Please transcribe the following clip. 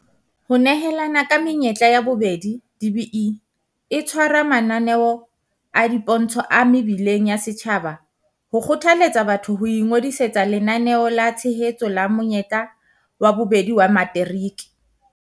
Ho nehelana ka menyetla ya bobedi DBE e tshwara mananeo a dipontsho a mebileng ya setjhaba ho kgothaletsa batho ho ingodisetsa Lenaneo la Tshehetso la Monyetla wa Bobedi wa Materiki.